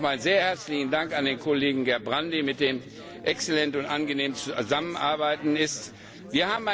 Deswegen auch mein sehr herzlicher Dank an den Kollegen Gerbrandy, mit dem man exzellent und angenehm zusammenarbeiten kann.